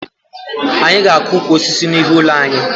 Anyị ga-akụ ukwu osisi n'ihu ụlọ anyị